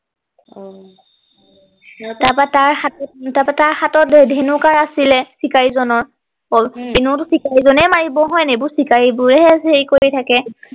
আহ তাৰ পৰা তাৰ হাতত তাৰ পৰা তাৰ হাতত ধেনু কাঁড় আছিলে চিকাৰী জনৰ উম এনেওটো চিকাৰী জনেই মাৰিব হয় নাই এইবোৰ চিকাৰী বোৰে হে হেৰি কৰি থাকে